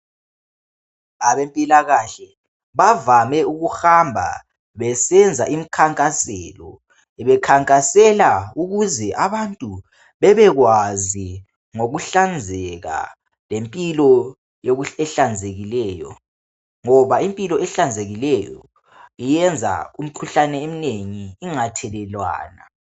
Abempilakahle bavame ukuhamba besenza imikhankaselo. Bekhankasela ukuze abantu babekwazi ngokuhlanzeka lempilo ehlanzekileyo, ngoba impilo ehlanzekileyo iyenza imikhuhlane eminengi ingathelelwana.